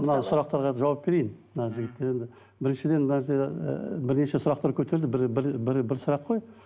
мына сұрақтарға жауап берейін мына жігіттер енді біріншіден мына ыыы бірнеше сұрақтар көтерілді бір бір бір бір сұрақ қой